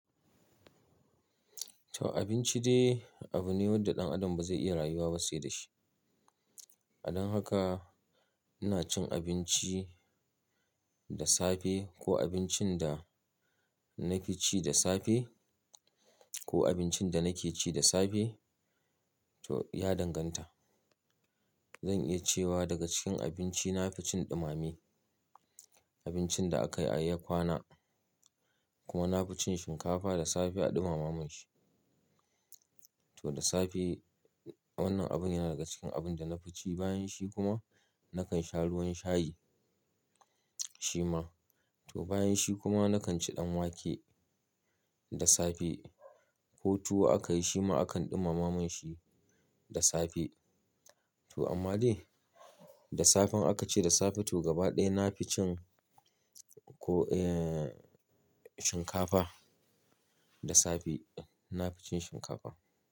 To abinci dai abune wanda ɗan adam ba zai iya rayuwa ba sai da shi. A dan haka ina cin abinci da safe ko abincin da na fi ci da safe ko abincin da nake ci da safe to ya danganta. Zan iya cewa daga cikin abinci na fi cin ɗumami, abincin da akayi a yi kwana kuma na fi cin shinkafa da safe a ɗumama min shi. To da safe wannan abin yana daga cikin abin da na fi ci, bayan shi kuma nakan sha ruwan shayi shima. To bayan shi kuma nakan ci ɗan wake da safe ko tuwo aka yi shima akan ɗumama min shi da safe. To amma dai da safe in aka ce da safe to gaba ɗaya na fi cin ko, eh, shinkafa da safe na fi cin shinkafa.